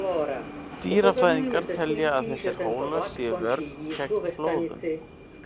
Dýrafræðingar telja að þessir hólar sé vörn gegn flóðum.